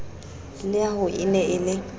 leaho e ne e le